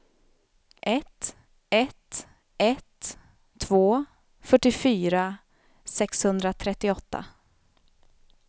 ett ett ett två fyrtiofyra sexhundratrettioåtta